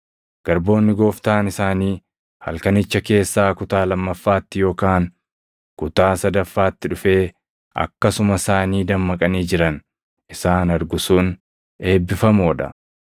Garboonni gooftaan isaanii halkanicha keessaa kutaa lammaffaatti yookaan kutaa sadaffaatti dhufee akkasuma isaanii dammaqanii jiran isaan argu sun eebbifamoo dha.